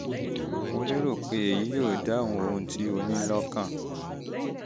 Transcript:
mo lérò pé èyí yóò dáhùn ohun tí o ní lọ́kàn